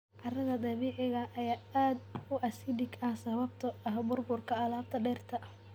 Carrada dabiiciga ah ayaa aad u acidic ah sababtoo ah burburka alaabta dhirta.